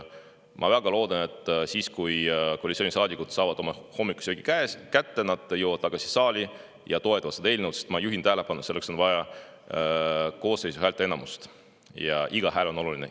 Ma väga loodan, et siis, kui koalitsioonisaadikud on saanud oma hommikusöögi kätte, nad jõuavad tagasi saali ja toetavad seda eelnõu, sest, ma juhin tähelepanu, on vaja koosseisu häälteenamust ja iga hääl on oluline.